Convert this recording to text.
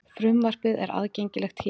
Frumvarpið er aðgengilegt hér